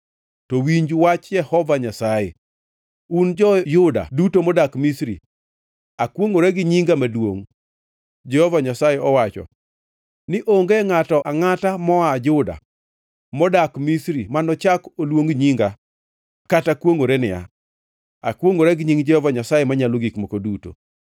To winj wach Jehova Nyasaye, un jo-Yahudi duto modak Misri: ‘Akwongʼora gi nyinga maduongʼ,’ Jehova Nyasaye owacho, ‘ni onge ngʼato angʼata moa Juda modak Misri manochak oluong nyinga kata kwongʼore niya, “Akwongʼora gi nying Jehova Nyasaye Manyalo Gik Moko Duto.”